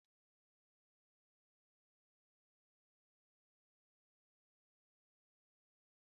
Agụ bụ egwu ndị mmadụ na-abụ ọnụ n'oge mmemme ma ọ bụ mmemme pụrụ iche.